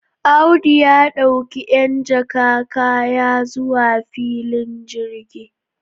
Audu ya d'auki 'yan jaka kaya zuwa filin jirgi.